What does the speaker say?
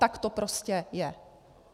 Tak to prostě je.